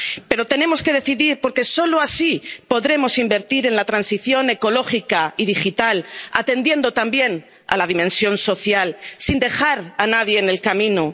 Pero tenemos que decidir, porque solo así podremos invertir en la transición ecológica y digital, atendiendo también a la dimensión social, sin dejar a nadie en el camino.